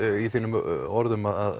í þínum orðum að